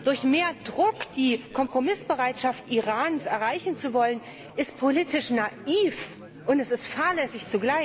Durch mehr Druck die Kompromissbereitschaft Irans erreichen zu wollen, ist politisch naiv und zugleich fahrlässig.